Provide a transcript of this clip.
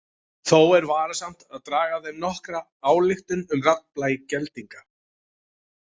Þó er varasamt að draga af þeim nokkra ályktun um raddblæ geldinga.